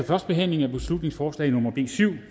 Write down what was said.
førstebehandlingen af beslutningsforslag nummer b syv